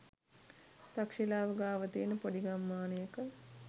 තක්ශිලාව ගාව තියන පොඩි ගම්මානයක.